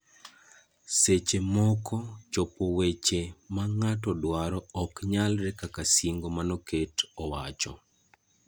Seche moko, chopo weche ma ng'ato dwaro ok nyalre kaka singo manoket owacho.